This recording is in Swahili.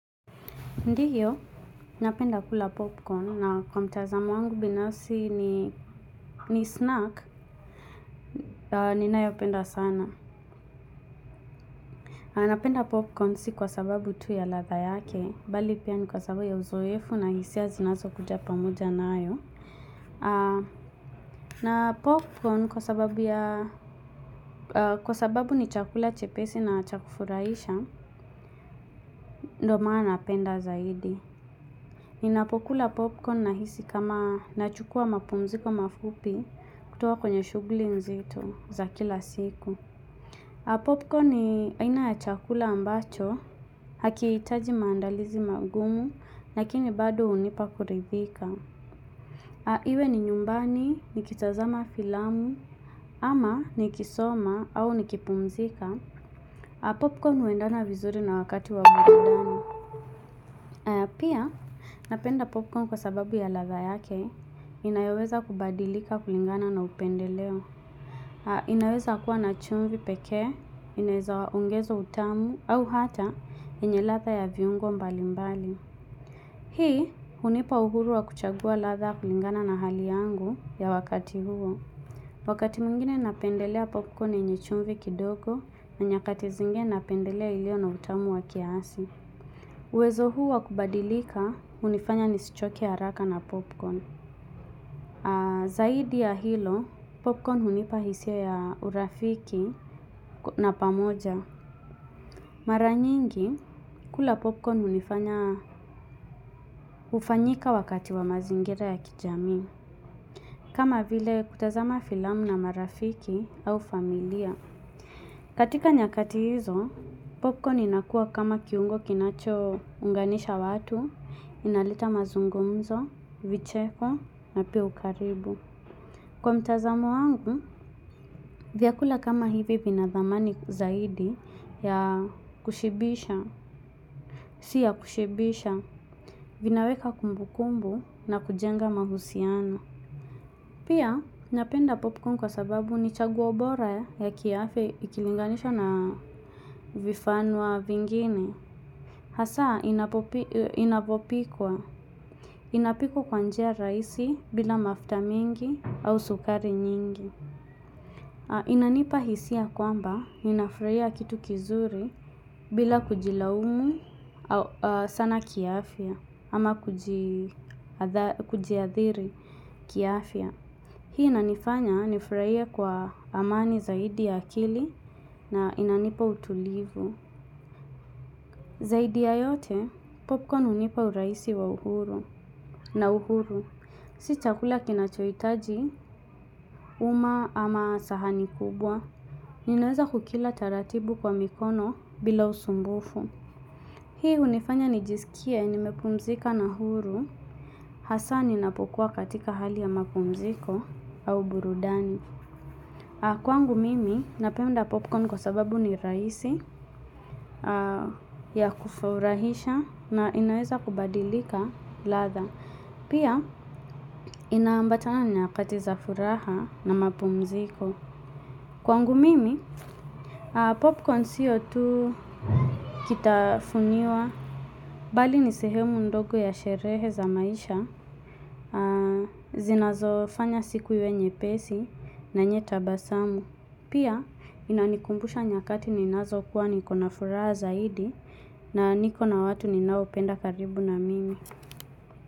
Ndiyo, napenda kula popcorn, na kwa mtazamo wangu binafsi ni snack, ninayopenda sana. Napenda popcorn si kwa sababu tu ya ladha yake, bali pia ni kwa sababu ya uzoefu na hisia zinazokuja pamoja nayo. Na popcorn kwa sababu ya, kwa sababu ni chakula chepesi na cha kufuraisha, ndo maana napenda zaidi. Ninapokula popcorn nahisi kama nachukua mapumziko mafupi kutoka kwenye shughuli nzito za kila siku. Popcorn ni aina ya chakula ambacho, hakihitaji maandalizi magumu, lakini bado hunipa kuridhika. Iwe ni nyumbani, nikitazama filamu, ama nikisoma au nikipumzika. Popcorn huendana vizuri na wakati wa uendani. Pia, napenda popcorn kwa sababu ya ladha yake, inayoweza kubadilika kulingana na upendeleo. Inaweza kuwa na chumvi pekee, inaweza ongezwa utamu, au hata yenye ladha ya viungo mbalimbali. Hii, hunipa uhuru wa kuchagua ladha kulingana na hali yangu ya wakati huo. Wakati mwengine napendelea popcorn yenye chumvi kidogo, na nyakati zingine napendelea iliyo na utamu wa kiasi. Uwezo huu wa kubadilika hunifanya nisichoke haraka na popcorn. Zaidi ya hilo, popcorn hunipa hisia ya urafiki na pamoja. Mara nyingi, kula popcorn hunifanya hufanyika wakati wa mazingira ya kijamii. Kama vile kutazama filamu na marafiki au familia. Katika nyakati hizo, popcorn inakua kama kiungo kinachounganisha watu, inaleta mazungumzo, vicheko na pia ukaribu. Kwa mtazamo wangu vyakula kama hivi vina thamani zaidi ya kushibisha si ya kushibisha vinaweka kumbukumbu na kujenga mahusiano. Pia, ninapenda popcorn kwa sababu ni chaguo bora ya kiafya ikilinganishwa na vifanwa vingine. Hasa, inapopikwa. Inapikwa kwa njia rahisi bila mafta mingi au sukari nyingi. Inanipa hisia kwamba, ninafraia kitu kizuri bila kujilaumu sana kiafya, ama kujiathiri kiafya. Hii inanifanya nifraie kwa amani zaidi ya akili na inanipa utulivu. Zaidi ya yote popcorn hunipa urahisi wa uhuru. Na uhuru, si chakula kinachohitaji, uma ama sahani kubwa. Ninaweza kukila taratibu kwa mikono bila usumbufu. Hii hunifanya nijisikie nimepumzika na uhuru, hasa ninapokua katika hali ya mapumziko au burudani. Kwangu mimi, napenda popcorn kwa sababu ni rahisi ya kufurahisha na inaweza kubadilika ladha. Pia, inaambatana na nyakati za furaha na mapumziko. Kwangu mimi, popcorn siyo tu kitafuniwa bali ni sehemu ndogo ya sherehe za maisha, zinazofanya siku iwe nyepesi na yenye tabasamu. Pia inanikumbusha nyakati ninazokuwa nikona furaha zaidi na nikona watu ninaopenda karibu na mimi.